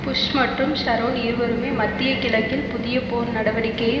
push மற்றும் Sharon இருவருமே மத்திய கிழக்கில் புதிய போர் நடவடிக்கையை